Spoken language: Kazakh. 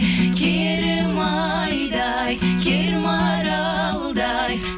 керім айдай кер маралдай